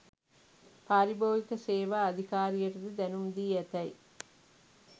පාරිභෝගික සේවා අධිකාරියටද දැනුම් දී ඇතැයි